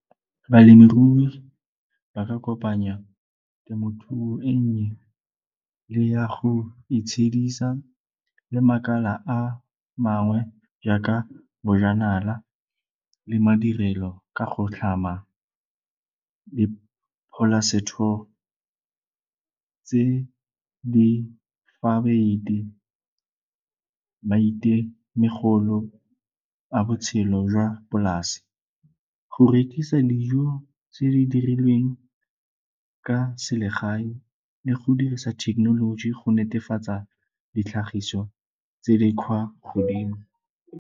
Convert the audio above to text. Balemirui ba ka kopanya temothuo e nnye le ya go itshedisa le makala a mangwe jaaka bojanala le madirelo ka go tlhama le tse di maitemogolo a botshelo jwa polasi. Go rekisa dijo tse di dirilweng ka selegae le go dirisa thekenoloji go netefatsa ditlhagiso tse di kgwa godimo.